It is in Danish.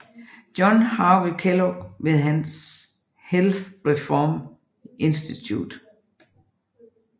John Harvey Kellogg ved hans Health Reform Institute